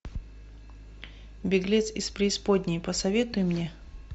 беглец из преисподней посоветуй мне